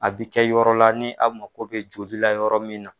A bɛ kɛ yɔrɔ la ni aw mako bɛ joli la yɔrɔ min na.